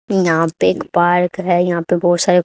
यहां पे एक पार्क है यहां पे बहोत सारे--